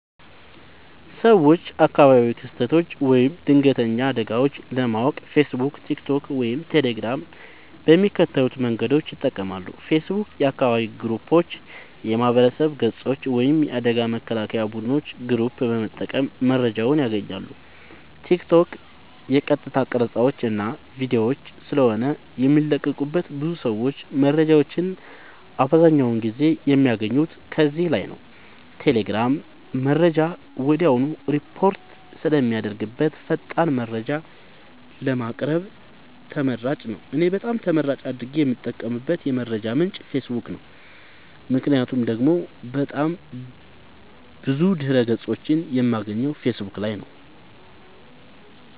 ሰወች አካባቢያዊ ክስተቶች ወይም ድንገተኛ አደጋወች ለማወቅ ፌሰቡክ ቲክቶክ ወይም ቴሌግራም በሚከተሉት መንገዶች ይጠቀማሉ ፌሰቡክ :- የአካባቢ ግሩፖች የማህበረሰብ ገፆች ወይም የአደጋ መከላከያ ቡድኖች ግሩፕ በመጠቀም መረጃወችን ያገኛሉ ቲክቶክ :- የቀጥታ ቀረፃወች እና ቪዲዮወች ስለሆነ የሚለቀቁበት ብዙ ሰወች መረጃወችን አብዛኛውን ጊዜ የሚያገኙት ከዚህ ላይ ነዉ ቴሌግራም :-መረጃ ወድያውኑ ሪፖርት ስለሚደረግበት ፈጣን መረጃን ለማግኘት ተመራጭ ነዉ። እኔ በጣም ተመራጭ አድርጌ የምጠቀምበት የመረጃ ምንጭ ፌሰቡክ ነዉ ምክንያቱም ደግሞ ብዙ ድህረ ገፆችን የማገኘው ፌሰቡክ ላይ ነዉ